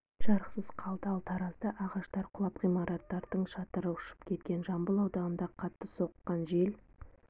жарықсыз қалды ал таразда ағаштар құлап ғимараттардың шатыры ұшып кеткен жамбыл ауданында қатты соққан жел